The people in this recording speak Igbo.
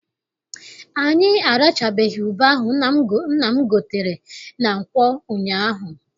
Anyị arachabeghị ube ahụ nna m gotere na nkwọ ụnyaahụ.